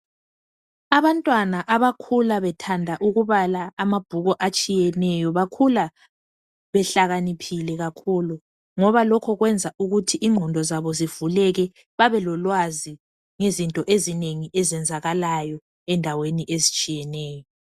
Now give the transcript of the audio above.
Abantwana abakhula bethanda ukubala amabhuku atshiyeneyo bakhula behlakaniphile kakhulu ngoba lokhu kwenza ukuthi ingqondo zabo zivuleke babelolwazi ngezinto ezinengi ezenzakalayo endaweni ezitshiyeneyo.